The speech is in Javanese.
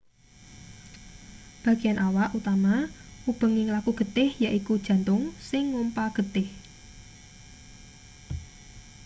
bagean awak utama ubenging laku getih yaiku jantung sing ngompa getih